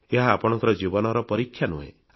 ଏହା ଆପଣଙ୍କ ଜୀବନର ପରୀକ୍ଷା ନୁହେଁ